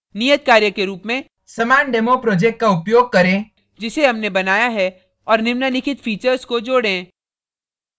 नियत कार्य के रूप में समान demo project का उपयोग करें जिसे हमने बनाया है और निम्नलिखित फीचर्स को जोडेंः